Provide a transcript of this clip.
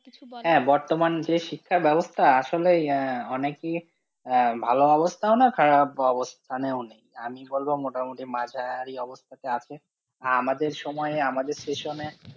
কিছু বলার, হ্যাঁ বর্তমান যে শিক্ষা ব্যবস্থা আসলেই আহ অনেকই আহ ভালো অবস্থাও না খারাপ অবস্থানেও নেই, আমি বলবো মোটামুটি মাঝারি অবস্থাতে আছে, আর আমাদের সময়ে আমাদের session এ